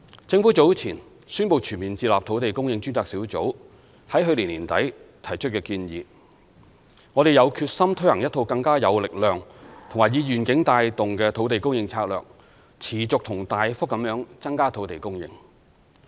政府早前宣布全面接納土地供應專責小組在去年年底提出的建議，我們有決心推行一套更有力量及以願景帶動的土地供應策略，持續及大幅地增加土地供應。